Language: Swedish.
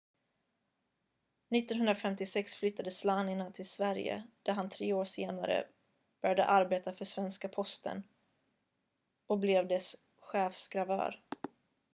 1956 flyttade slania till sverige där han tre år senare började arbeta för svenska posten och blev dess chefsgravör